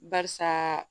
Barisa